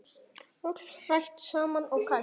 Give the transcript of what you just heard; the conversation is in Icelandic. Öllu hrært saman og kælt